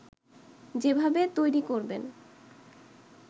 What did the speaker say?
যেভাবে তৈরি করবেন